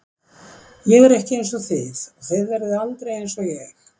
Ég er ekki einsog þið og þið verðið aldrei einsog ég.